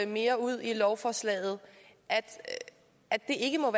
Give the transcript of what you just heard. mere ud i lovforslaget at det ikke må